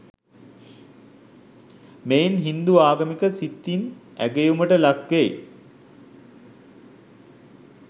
මෙයින් හින්දු ආගමික සිතින් ඇගයුමට ලක්වෙයි.